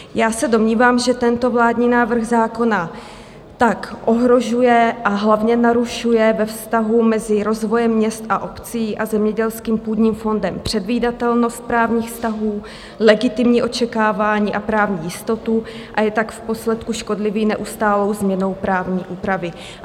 Já se domnívám, že tento vládní návrh zákona tak ohrožuje, a hlavně narušuje ve vztahu mezi rozvojem měst a obcí a zemědělským půdním fondem předvídatelnost právních vztahů, legitimní očekávání a právní jistotu, a je tak v posledku škodlivý neustálou změnou právní úpravy.